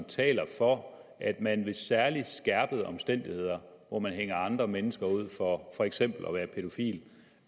taler for at man ved særlig skærpende omstændigheder hvor man hænger andre mennesker ud for for eksempel at være pædofil